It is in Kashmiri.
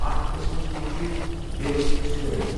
اَتھ قسمَس مَنٛز چھُ 'ڈیوَل سرویَل'۔